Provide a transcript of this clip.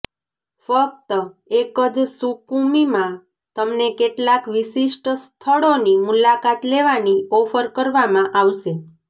ફક્ત એક જ સુકુમીમાં તમને કેટલાક વિશિષ્ટ સ્થળોની મુલાકાત લેવાની ઓફર કરવામાં આવશે